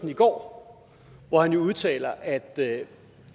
i går hvor han jo udtalte at at